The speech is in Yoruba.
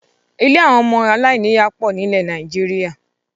Ilé àwọn ọmọ aláìníya pọ̀ nilẹ Nàìjíríà